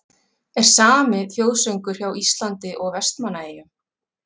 Er SAMI þjóðsöngur hjá Íslandi og Vestmannaeyjum?